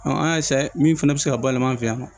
an y'a min fana bɛ se ka bayɛlɛma an fɛ yan